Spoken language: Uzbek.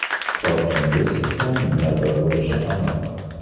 Hisobchingiz sizdan minnatdor bo‘lishi aniq.